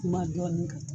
Kuma dɔɔnin ka